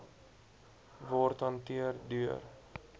word hanteer deur